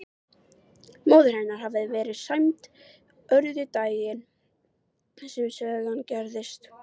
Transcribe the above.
Móðir hennar hafði verið sæmd orðu daginn sem sagan gerist.